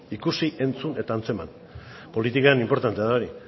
ikusi entzun eta antzeman politikan inportantea da hori